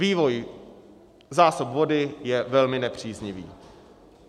Vývoj zásob vody je velmi nepříznivý.